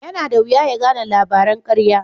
Yana da wuya ya gane labaran karya.